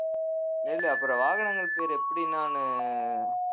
ஏன்டா அப்புறம் வாகனங்கள் பேரு எப்படி நானு